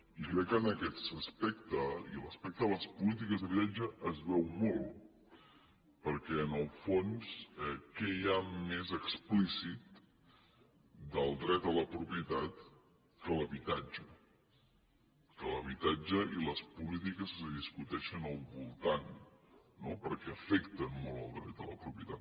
i crec que en aquest aspecte i respecte a les polítiques d’habitatge es veu molt perquè en el fons què hi ha més explícit del dret a la propietat que l’habitatge que l’habitatge que l’habitatge i les polítiques que s’hi discuteixen al voltant no perquè afecten molt el dret de la propietat